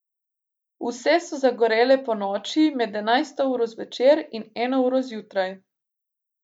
Vse so zagorele ponoči, med enajsto uro zvečer in eno uro zjutraj.